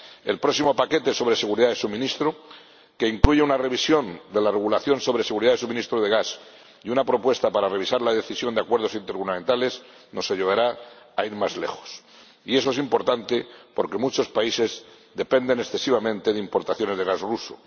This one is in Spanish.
El próximo paquete sobre seguridad de suministro, que incluye una revisión de la regulación sobre seguridad de suministro de gas y una propuesta para revisar la decisión sobre los acuerdos intergubernamentales, nos ayudará a ir más lejos. Y eso es importante porque muchos países dependen excesivamente de las importaciones de gas ruso.